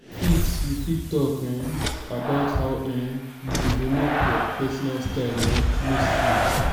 you fit you fit talk um about how um you develop your pesinal style um mostly.